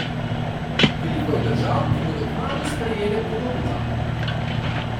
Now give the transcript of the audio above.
Veliko je držav, ki bodo kmalu sprejele podoben zakon.